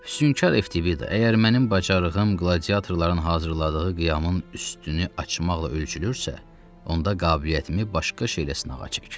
Hüsyünkar Eftibida, əgər mənim bacarığım qladiatorların hazırladığı qiyamın üstünü açmaqla ölçülürsə, onda qabiliyyətimi başqa şeylə sınağa çək.